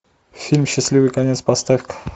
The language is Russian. фильм счастливый конец поставь ка